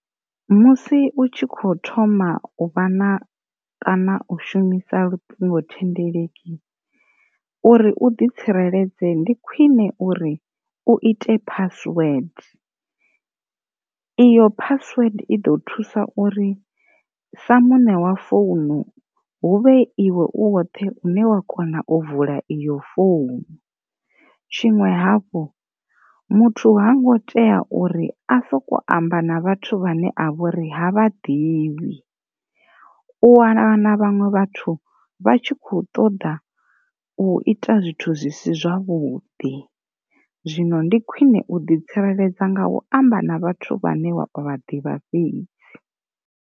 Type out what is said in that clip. Musi u tshi kho thoma uvha na kana u shumisa luṱingo thendeleki uri u ḓi tsireledze ndi khwine uri u ite password, iyo phasiwede i ḓo thusa uri sa muṋe wa founu huvhe iwe u woṱhe une wa kona u vula iyo founu, tshiṅwe havhu muthu hango tea uri a soko amba na vhathu vhane a vha uri ha vha ḓivhi u wana na vhaṅwe vhathu vha tshi kho ṱoḓa u ita zwithu zwisi zwavhuḓi zwino ndi khwine u ḓi tsireledza nga u amba na vhathu vhane vha ḓivha fhedzi.